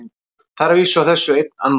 Það er að vísu á þessu einn annmarki.